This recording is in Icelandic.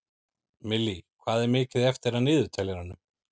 Millý, hvað er mikið eftir af niðurteljaranum?